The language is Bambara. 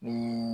Ni